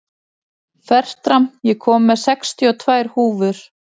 Fertram, ég kom með sextíu og tvær húfur!